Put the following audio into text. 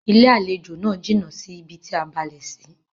Ilé-àlejò náà jìnà sí bi tí a balẹ̀ sí.